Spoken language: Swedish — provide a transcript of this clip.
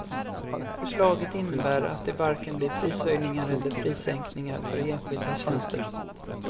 Förslaget innebär att det varken blir prishöjningar eller prissänkningar för enskilda tjänster.